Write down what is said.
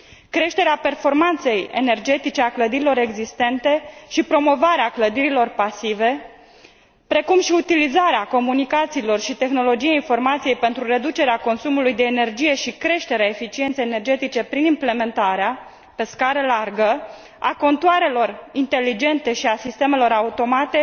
Creșterea performanței energetice a clădirilor existente și promovarea clădirilor pasive, precum și utilizarea comunicațiilor și tehnologiei informației pentru reducerea consumului de energie și creșterea eficienței energetice prin implementarea, pe scară largă, a contoarelor inteligente și a sistemelor automate